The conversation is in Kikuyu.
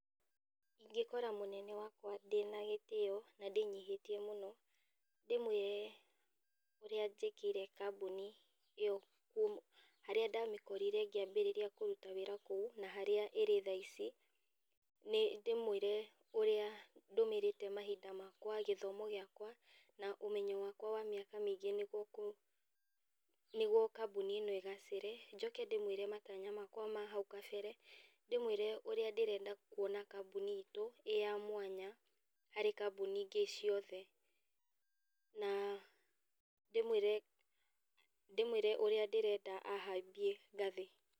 Ingĩkora munene wakwa ndĩna gĩtĩo na ndĩnyihĩtie mũno ndĩmwĩre ũrĩa njĩkĩire kambuni ĩyo, harĩa ndamĩkorire ngĩambĩrĩria kuruta wĩra kũu na harĩa ĩrĩ thaa ici, nĩ ndĩmwĩre ũrĩa ndũmĩrĩte mahinda makwa, gĩthomo gĩakwa na ũmenyo wakwa wa mĩaka mĩingĩ nĩguo kambuni ĩno ĩgacĩre. Njoke ndĩmwĩre matanya makwa ma hau kabere, ndĩmwĩre ũrĩa ndĩrenda kuona kambuni itũ ĩĩ ya mwanya harĩ kambuni ingĩ ciothe na ndĩmwĩre ũrĩa ndĩrenda a hambie ngathĩ.